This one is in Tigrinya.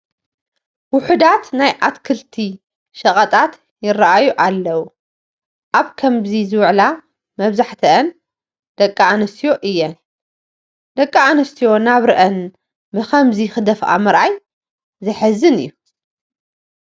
ውሑዳት ናይ ኣትክልቲ ሸቐጣት ይርአዩ ኣለዉ፡፡ ኣብ ከምዚ ዝውዕላ መብዛሕትአን ደቂ ኣንስትዮ እየን፡፡ ደቂ ኣንስትዮ ናብርአን ብከምዚ ክደፍኣ ምርኣይ ዘሕዝን እዩ፡፡